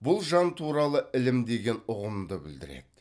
бұл жан туралы ілім деген ұғымды білдіреді